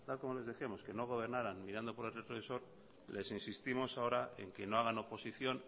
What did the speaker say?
como les decíamos que no gobernaran mirando por el retrovisor les insistimos ahora en que no hagan oposición